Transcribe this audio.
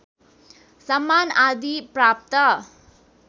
सम्मान आदि प्राप्त